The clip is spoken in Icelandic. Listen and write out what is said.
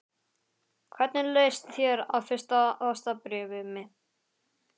Hvernig leist þér á fyrsta ástarbréfið mitt?